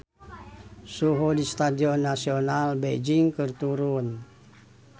Suhu di Stadion Nasional Beijing keur turun